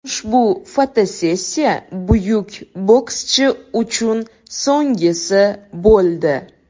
Ushbu fotosessiya buyuk bokschi uchun so‘nggisi bo‘ldi.